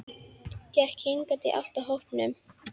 Gekk hikandi í áttina að hópnum.